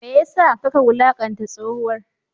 Me ya sa kaka wulakanta tsohuwar?